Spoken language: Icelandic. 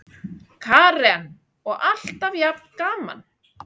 Karen: Og alltaf jafn gaman?